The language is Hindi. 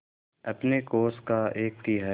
अपने कोष का एक तिहाई